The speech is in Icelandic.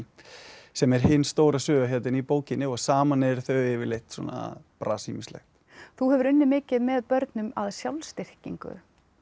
sem er hin stóra söguhetjan í bókinni saman eru þau yfirleitt að brasa ýmislegt þú hefur unnið mikið með börnum að sjálfsstyrkingu er